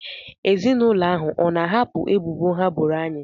Ezinụlọ ahụ ọ na-ahapụ ebubo ha boro anyị?